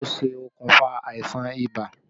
Kí ni ó ṣe okùnfà àìsàn ibà?